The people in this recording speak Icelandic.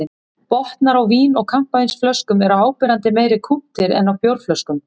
Botnar á vín- og kampavínsflöskum eru áberandi meira kúptir en á bjórflöskum.